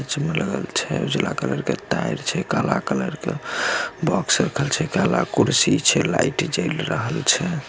उजला कलर के ताएर छै काला कलर के बॉक्स रखल छै काला कलर के काला कुर्सी छै लाइट जयेल रहल छै।